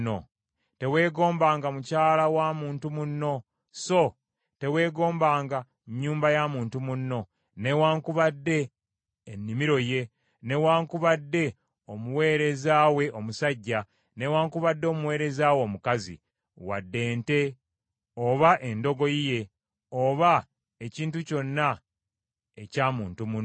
Teweegombanga mukyala wa muntu munno. So teweegombanga nnyumba ya muntu munno, newaakubadde ennimiro ye, newaakubadde omuweereza we omusajja, newaakubadde omuweereza we omukazi, wadde ente ye, oba endogoyi ye, oba ekintu kyonna ekya muntu munno.”